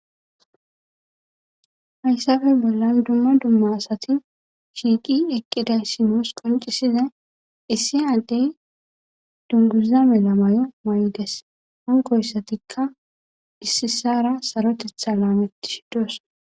hayssafe bollan dumma dumma asati shiiqi eqqiday simoos qoncisiza issi addey dunguza melamayo mayges hankoyssatikka issisara sarotetha laametti shidos